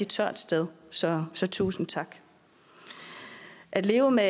tørt sted så så tusind tak at leve med